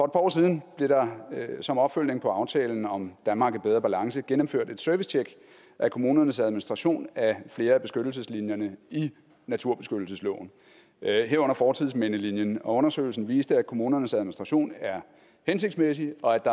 år siden blev der som opfølgning på aftalen om danmark i bedre balance gennemført et servicetjek af kommunernes administration af flere af beskyttelseslinjerne i naturbeskyttelsesloven herunder fortidsmindelinjen og undersøgelsen viste at kommunernes administration er hensigtsmæssig og at